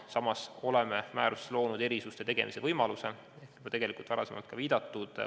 Samas oleme määrusega loonud erisuste tegemise võimaluse, millele on varasemalt ka viidatud.